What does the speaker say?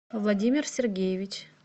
владимир сергеевич